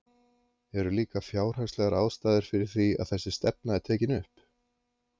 Eru líka fjárhagslegar ástæður fyrir því að þessi stefna er tekin upp?